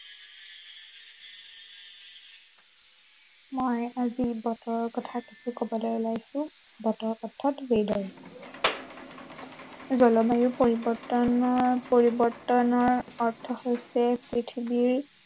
মই আজি বতৰৰ কথা কিছু কবলৈ ওলাইছো, বৰত অৰ্থাৎ weather জলবায়ু পৰিৱৰ্তনৰ, পৰিৱৰ্তনৰ অৰ্থ হৈছে পৃথিৱীৰ